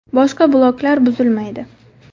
Boshqa bloklar buzilmaydi.